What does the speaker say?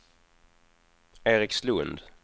Erikslund